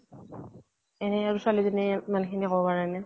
এনে আৰু ছোৱালীজনীয়ে ইমান খিনি কব পাৰে নে।